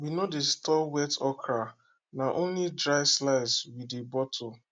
we no dey store wet okra na only dry slice we dey bottle